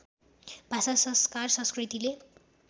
भाषा संस्कार संस्कृतिले